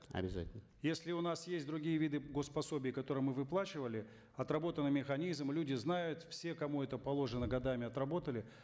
обязательно если у нас есть другие виды гос пособий которые мы выплачивали отработанный механизм люди знают все кому это положено годами отработали